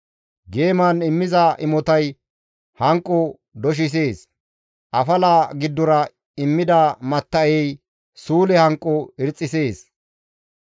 Geeman immiza imotay hanqo doshisees; afala giddora immida matta7ey suule hanqo irxxisees.